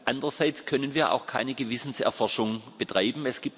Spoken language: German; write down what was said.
Andererseits können wir auch keine Gewissenserforschung betreiben.